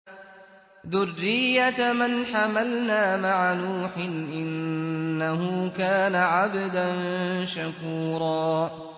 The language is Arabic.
ذُرِّيَّةَ مَنْ حَمَلْنَا مَعَ نُوحٍ ۚ إِنَّهُ كَانَ عَبْدًا شَكُورًا